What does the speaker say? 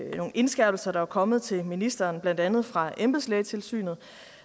indskærpelser der var kommet til ministeren blandt andet fra embedslægetilsynet